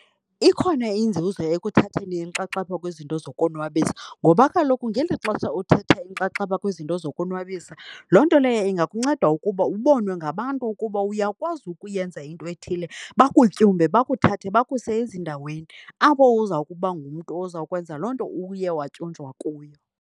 Ikhona inzuzo ekuthatheni inxaxheba kwizinto zokonwabisa ngoba kaloku ngeli xesha uthatha inxaxheba kwizinto zokonwabisa, loo nto leyo ingakunceda ukuba ubonwe ngabantu ukuba uyakwazi ukuyenza into ethile. Bakutyumbe, bakuthathe bakuse ezindaweni apho uza kuba ngumntu oza kwenza loo nto uye watyunjwa kuyo.